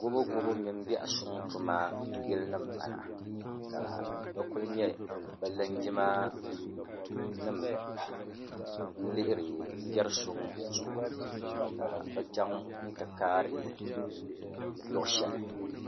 Gubu gubu mini biɛhi suŋ tuma yili nim m bala ka bɛ kuli nye bɛ lingima nim n lihiri bɛri suŋ zuɣu ka bɛ chaŋ n ti kaari luɣi sheli.